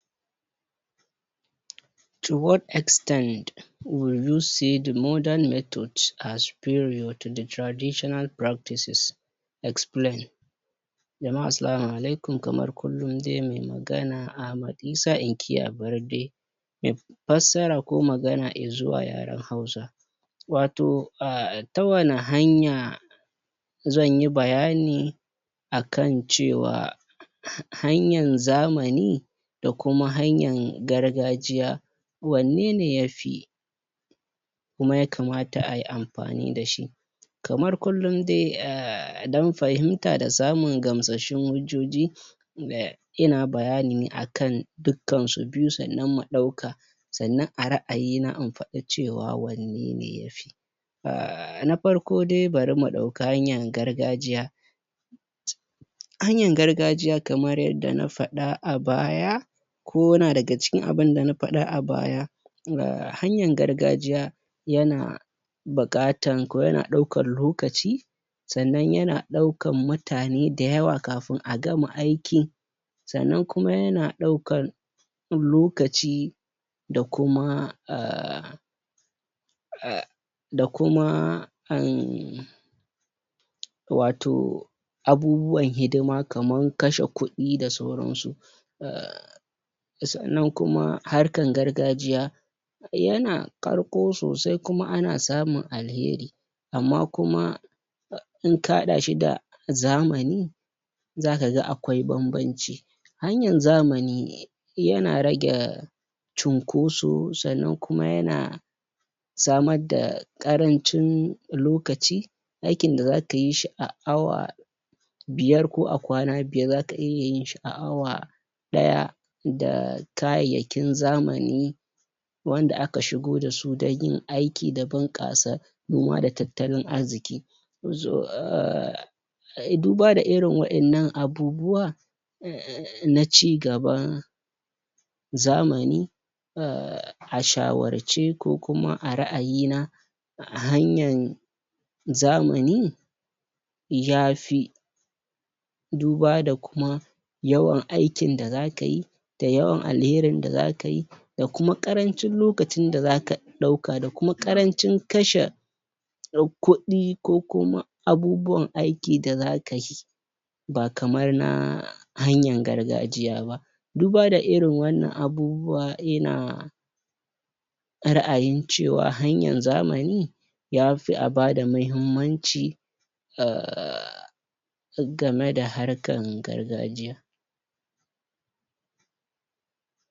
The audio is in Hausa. To waht extent would you say the modern method are superior to the traditional practices. Explain. Jama'a assalamu alaikum, kamar kullum dai mai magana Ahmad Isah--inkiya Barde. fassara ko magana i zuwa yaren Hausa. Wato um ta wane hanya zan yi bayani a kan cewa hanyan zamani da kuma hanyan gargajiya, wanne ne ya fi kuma ya kamata a yi amfani da shi? Kamar kullum dai, don fahimta da samun gamsasshun hujjoji, ina bayani a kan dukkansu biyu sannan mu ɗauka, sannan a ra'ayina in faɗi cewa wanne ne ya fi um Na farko dai bari mu ɗauki hanyan gargajiya Hanyan gargajiya kaman yadda na faɗa a baya ko yana daga cikin abin da na faɗa a baya, um hanyan gargajiya yana buƙatan ko yana ɗaukan lokaci, sannan yana ɗaukan mutane da yawa kafin a gama aikin. Sannan kuma yana ɗaukan lokaci da kuma um um da kuma um wato abubuwan hidima kaman kashe kuɗi da sauransu um Sannan kuma harkan gargajiya yana ƙarko sosai kuma ana samun alheri amma kuma in ka haɗa shi da zamani, za ka ga akwai bambanci. Hanyan zamani yana rage cunkoso sannan kuma yana samar da ƙarancin lokaci. Aikin da za ka yi shi a awa biyar ko a kwana biyar za ka iya yin shi a awa ɗaya da kayayyakin zamani wanda aka shigo da su don yin aiki da buƙasa noma da tattalin arziki um Duba da irin waƴannan abubuwa um na ci gaba zamani um a shawarce ko kuma a ra'ayina, hanyan zamani ya fi duba da kuma yawan aikin da za ka yi, yawan alherin da za ka yi da kuma ƙarancin lokacin da za ka ɗauka da kuma ƙarancin kashe kuɗɗi ko kuma abubuwan aiki da za ka yi. Ba kamar na hanyan gargajiya ba. Duba da irin wannan abubuwa yana ra'ayin cewa hanyan zamani ya fi a ba da muhimmanci um game da harkan gargajiya.